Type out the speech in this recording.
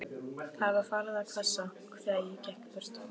Það var farið að hvessa, þegar ég gekk burt.